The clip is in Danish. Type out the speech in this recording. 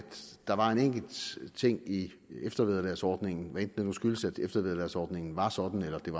der var en enkelt ting i eftervederlagsordningen hvad enten det nu skyldes at eftervederlagsordning var sådan eller at det